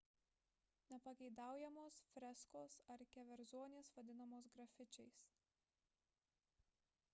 nepageidaujamos freskos ar keverzonės vadinamos grafičiais